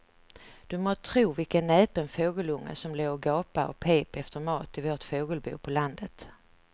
Du må tro vilken näpen fågelunge som låg och gapade och pep efter mat i vårt fågelbo på landet.